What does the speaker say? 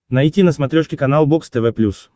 найти на смотрешке канал бокс тв плюс